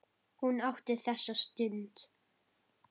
Hún átti þessa stund.